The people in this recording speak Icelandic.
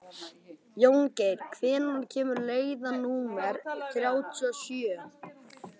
Jóngerð, hvenær kemur leið númer þrjátíu og sjö?